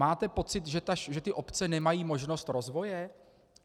Máte pocit, že ty obce nemají možnost rozvoje?